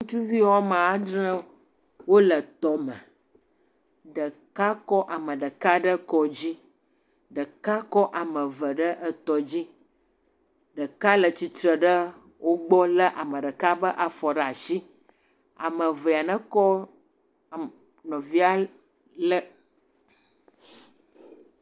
Ŋtsuvi wo ame adre wole tɔme. Ɖeka kɔ ame ɖeka ɖe kɔ dzi, ɖeka kɔ ame eve ɖe etɔ dzi. Ɖeka le tsi tre ɖe wogbɔ lé ame ɖeka ƒe afɔ ɖe asi.